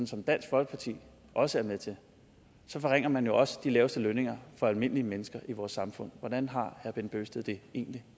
som dansk folkeparti også er med til så forringer man jo også de laveste lønninger for almindelige mennesker i vores samfund hvordan har herre bent bøgsted det egentlig